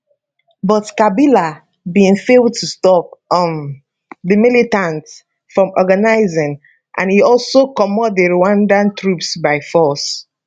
but kabila bin fail to stop um di militants from organising and e also comot di rwandan troops by force